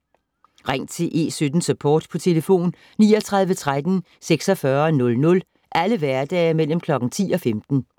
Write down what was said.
Ring til E17-Support på 39 13 46 00 alle hverdage mellem kl. 10 og 15